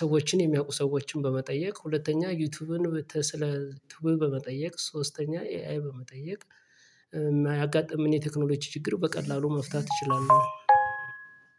ሰዎችን የሚያውቁ ሰዎችን በመጠየቅ ሁለተኛ ዩቲዩብን ስለ ቱብ በመጠየቅ ሶስተኛ ኤአይ በመጠየቅ። የሚያያጋጥምን የቴክኖሎጂ ችግር በቀላሉ መፍታት ትችላለህ።